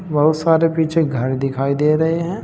बहुत सारे पीछे घर दिखाई दे रहे हैं।